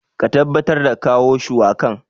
Ka tabbatar da kawo shuwakan.